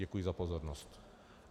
Děkuji za pozornost.